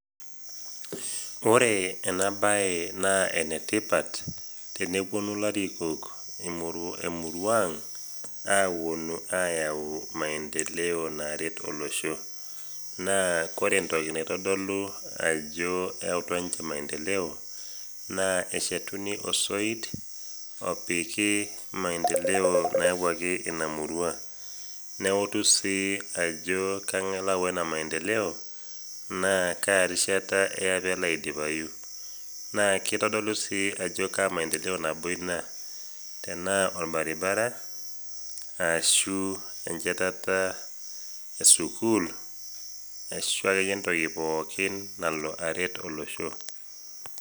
Ore ena bae naa enetipat teneponu ilarikok emurua ang, aponu ayau maendeleo naret olosho. naa ore entoki naitodolu ajo eyeutua ninche maendeleo naa eshetuni osoit opiki maendeleo nayawuaki ina murua ,neutu sii ajo ngae oyaua ina maendeleo naa kaa rishata eya pee elo aidipayu .naa kitodolu sii ajo kaa maendeleo ina tenaa korbaribara ,ashu enchetata esukul, ashu akeyie entoki pookin nalo aret olosho.